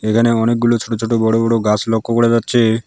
এখানে অনেকগুলো ছোটো ছোটো বড়ো বড়ো গাছ লক্ষ্য করা যাচ্ছে।